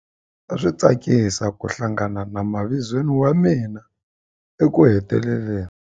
A swi tsakisa ku hlangana na mavizweni wa mina ekuheteleleni.